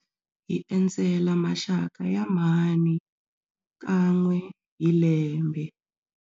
Hi endzela maxaka ya mhani kan'we hi lembe.